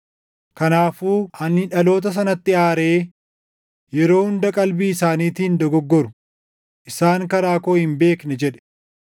Kanaafuu ani dhaloota sanatti aaree, ‘Yeroo hunda qalbii isaaniitiin dogoggoru; isaan karaa koo hin beekne’ jedhe.